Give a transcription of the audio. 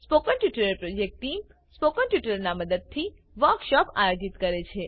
spoken tutorial project ટીમ160 spoken ટ્યુટોરીયલોનાં ઉપયોગથી વર્કશોપોનું આયોજન કરે છે